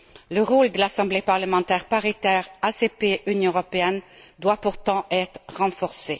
Le rôle de l'Assemblée parlementaire paritaire ACP Union européenne doit pourtant être renforcé.